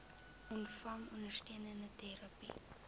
ontvang ondersteunende terapie